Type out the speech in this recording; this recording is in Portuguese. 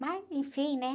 Mas, enfim, né?